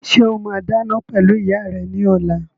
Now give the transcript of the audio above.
Ṣé o máa dáná pẹ̀lú ìyá rẹ ní ọ̀la?